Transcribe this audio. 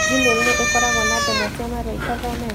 Gmail nĩ ĩkoragwo na ndemwa cia marũa itathomete